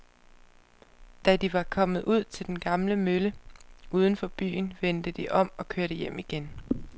Da de var kommet ud til den gamle mølle uden for byen, vendte de om og kørte hjem igen.